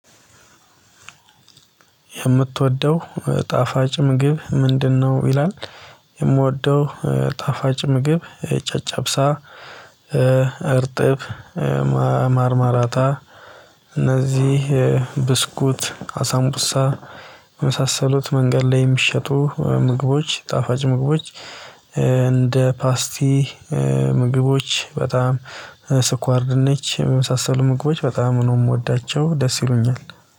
"የምትወደው ጣፋጭ ምግብ ምንድነው?" ይላል፤ የምወደው ጣፋጭ ምግብ ጨጨብሳ እርጥብ፣ ማርማራታ፣ እነዚህ ብስኩት፣ አሳንቡሳ፣ የመሳሰሉት መንገድ ላይ የሚሸጡ ምግቦች ጣፋጭ ምግቦች እንደ ፓስቲ፣ ምግቦች በጣም ስኳር ድንች የመሳሰሉ ምግቦች በጣም ነው የምወዳቸው። ደስ ይሉኛል።